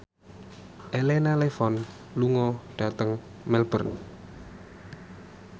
Elena Levon lunga dhateng Melbourne